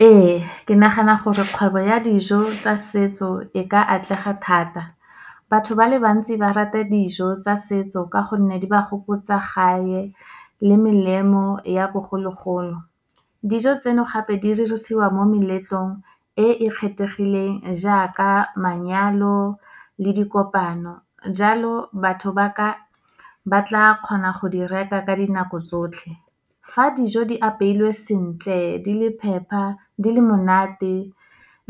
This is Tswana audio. Ee, ke nagana gore kgwebo ya dijo tsa setso e ka atlega thata. Batho ba le bantsi ba rata dijo tsa setso, ka gonne di ba gopotsa gae le melemo ya bogologolo. Dijo tseno, gape di dirisiwa mo meletlong e e kgethegileng, jaaka manyalo le dikopano. Jalo, batho ba tla kgona go di reka ka dinako tsotlhe. Fa dijo di apeilwe sentle, di le phepa, di le monate,